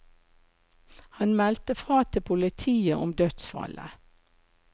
Han meldte fra til politiet om dødsfallet.